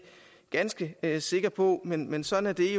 ganske sikker på men men sådan er